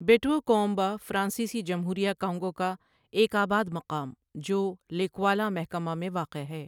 بیٹؤکؤمبا فرانسیسی جمہوریہ کانگو کا ایک آباد مقام جو لیکوالا محکمہ میں واقع ہے۔